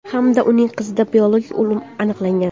hamda uning qizida biologik o‘lim aniqlangan.